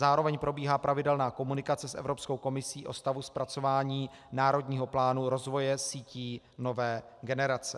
Zároveň probíhá pravidelná komunikace s Evropskou komisí o stavu zpracování Národního plánu rozvoje sítí nové generace.